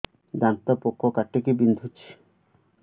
ଦାନ୍ତ ପୋକ କାଟିକି ବିନ୍ଧୁଛି